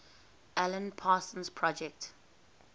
alan parsons project